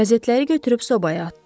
Qəzetləri götürüb sobaya atdı.